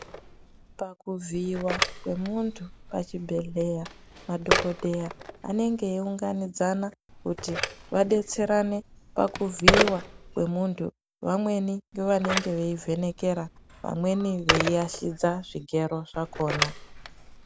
Pakuvhiyiwa kwemuntu pachibhedhleya madhokodheya anenge eiunganidzana kuti vadetserane pakuvhiyiwa kwemuntu vanenge ngevanenge veivhenekera vamweni veiashidza zvigero zvakona.